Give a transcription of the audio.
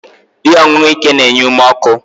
Ihe ọṅụṅụ ike na-enye ume ọkụ